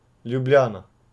Ljubljana.